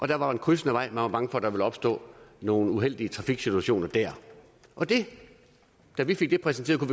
der var en krydsende vej og man var der ville opstå nogle uheldige trafiksituationer der og da vi fik det præsenteret